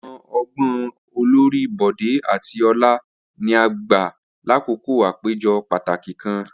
Awọn ọgbọn olori Bode ati Ola ni a gba lakoko apejọ pataki kan.